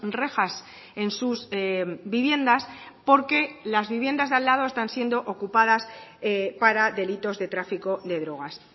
rejas en sus viviendas porque las viviendas de al lado están siendo ocupadas para delitos de tráfico de drogas